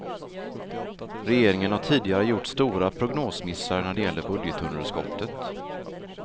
Regeringen har tidigare gjort stora prognosmissar när det gäller budgetunderskottet.